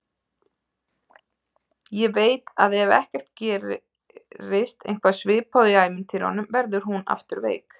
Ég veit að ef ekki gerist eitthvað svipað og í ævintýrunum verður hún aftur veik.